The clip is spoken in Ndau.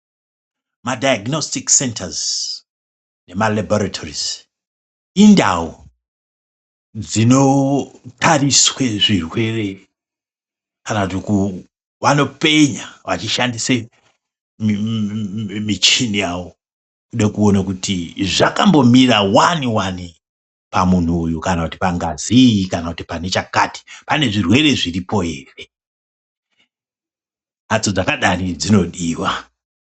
Madhaiginositiki sentazi nemakabhorutari indau dzinotariswe zvirwere kana kuti vanopenya vechishandise michini yawo nekumboona kuti zvakambomira wani wani pamunhu uyu kana pangazi iyi kana pane chakati pane zvirwere zviripo ere, mphatso dzakadaro dzinodiwa.